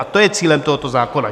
A to je cílem tohoto zákona.